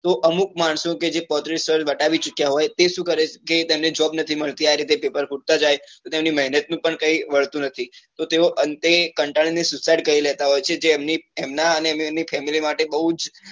તો અમુક માણસો કે જે પાંત્રીસ વર્ષ વટાવી ચુક્યા હોય તે શું કરે કે તેને job નથી મળતી અ રીતે પેપર ફૂટતા જાય તો એમની મહેનત નું પણ કઈ વળતું નથી તો તેઓ અંતે કંટાળી ને suicide કરી લેતા હોય છે તો એમના ને એમની family માટે બઉ જ